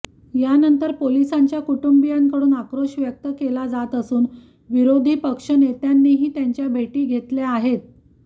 यानंतर पोलिसांच्या कुटुंबीयांकडून आक्रोश व्यक्त केला जात असून विरोधी पक्षनेत्यांनीही त्यांच्या भेटी घेतल्या आहेत